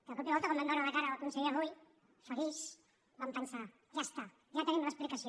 de cop i volta quan vam veure la cara del conseller rull feliç vam pensar ja està ja tenim l’explicació